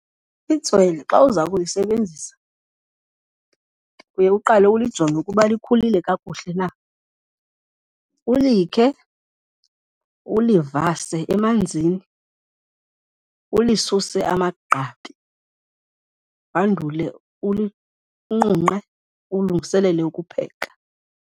Itswele xa uza kulisebenzisa uye uqale ulijonge ukuba likhulile kakuhle na, ulikhe, ulivase emanzini, ulisuse amagqabi wandule ulinqunqe ulungiselele ukupheka.